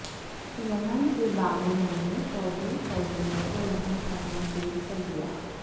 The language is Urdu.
یمن کے باغیوں نے سعودی فوجیوں کو رہا کرنا شروع کردیا